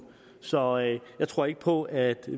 så jeg tror ikke på at